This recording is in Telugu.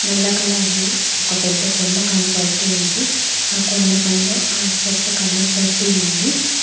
నల్ల కలర్ లో ఒక పెద్ద కొండ కనబడుతూ ఉంది ఆ కొండపైన ఆకుపచ్చ కలర్ గడ్డి ఉంది.